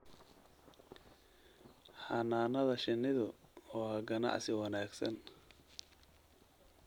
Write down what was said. Xannaanada shinnidu waa ganacsi wanaagsan.